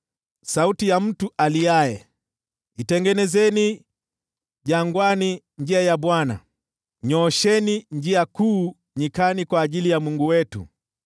Sauti ya mtu aliaye: “Itengenezeni jangwani njia ya Bwana , nyoosheni njia kuu nyikani kwa ajili ya Mungu wetu.